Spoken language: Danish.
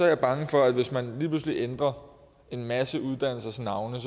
jeg bange for at hvis man lige pludselig ændrer en masse uddannelsers navne